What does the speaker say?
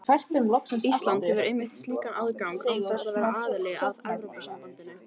Ísland hefur einmitt slíkan aðgang án þess að vera aðili að Evrópusambandinu.